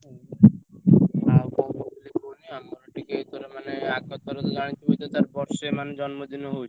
ହୁଁ ଆଉ କଣ କହୁଥିଲି କୁହନି ଆମର ଟିକେ ଏଇଥର ମାନେ ଆଗଥର ତ ଜାଣିଥିବୁ ଯେ ତାର ବର୍ଷେ ମାନେ ଜନ୍ମଦିନ ହଉଛି।